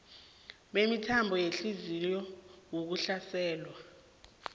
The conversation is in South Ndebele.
bemithambo yehliziyo ukuhlaselwa